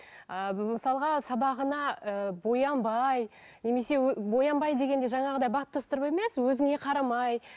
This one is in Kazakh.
ы мысалға сабағына ыыы боянбай немесе боянбай дегенде жаңағы баттастырып емес өзіңе қарамай